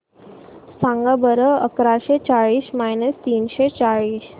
सांगा बरं अकराशे चाळीस मायनस तीनशे चाळीस